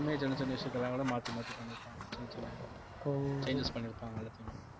சின்ன சின்ன விஷயத்தையெல்லாம் கூட மாத்தி மாத்தி பண்ணிருப்பாங்க சின்ன சின்ன ஓ changes பண்ணிருப்பாங்க எல்லாத்தையுமே